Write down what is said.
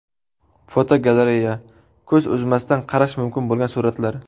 Fotogalereya: Ko‘z uzmasdan qarash mumkin bo‘lgan suratlar.